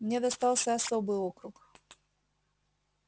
мне достался особый округ